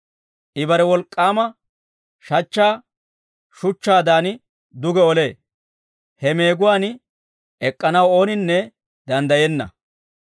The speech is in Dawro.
I bare wolk'k'aama shachchaa shuchchaadan duge olee. He meeguwaan ek'k'anaw ooninne danddayenna.